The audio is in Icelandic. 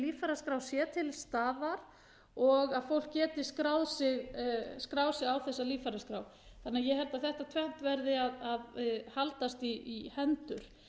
líffæraskrá sé til staðar og að fólk geti skráð sig á þessa líffæraskrá þannig að ég held að þetta tvennt verði að haldast í hendur